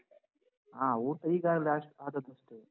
ಹ. ಊಟ ಈಗ ಆದ್~ ಆದದಷ್ಟೇ.